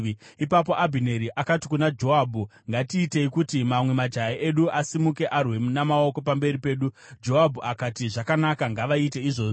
Ipapo Abhineri akati kuna Joabhu, “Ngatiitei kuti mamwe majaya edu asimuke arwe namaoko pamberi pedu.” Joabhu akati, “Zvakanaka, ngavaite izvozvo.”